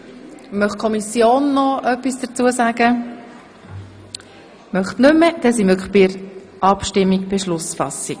– Das ist nicht der Fall, dann kommen wir nun zur Beschlussfassung.